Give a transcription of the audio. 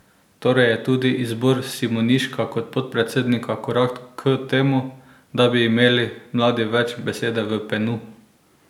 Torej je tudi izbor Simoniška kot podpredsednika korak k temu, da bi imeli mladi več besede v Penu?